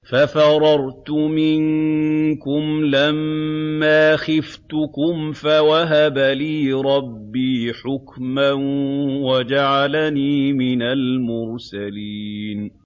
فَفَرَرْتُ مِنكُمْ لَمَّا خِفْتُكُمْ فَوَهَبَ لِي رَبِّي حُكْمًا وَجَعَلَنِي مِنَ الْمُرْسَلِينَ